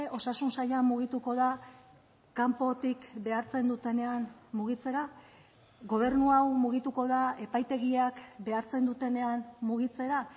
osasun saila mugituko da kanpotik behartzen dutenean mugitzera gobernu hau mugituko da epaitegiak behartzen dutenean mugitzera